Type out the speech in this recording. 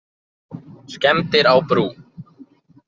Skemmdir á brú